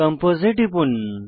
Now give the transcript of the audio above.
compose এ টিপুন